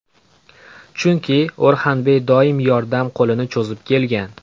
Chunki O‘rxanbey doim yordam qo‘lini cho‘zib kelgan.